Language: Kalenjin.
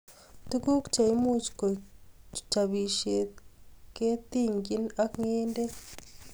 Tuguuk che imuch koeg chabishiet ketinychii ak kendeee